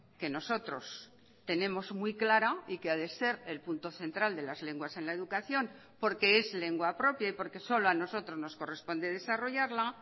que nosotros tenemos muy clara y que ha de ser el punto central de las lenguas en la educación porque es lengua propia y porque solo a nosotros nos corresponde desarrollarla